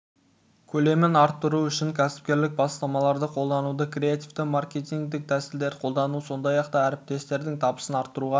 көлемін арттыру үшін кәсіпкерлік бастамаларды қолдануды креативті маркетингілік тәсілдерді қолдану сондай-ақ да әріптестердің табысын арттыруға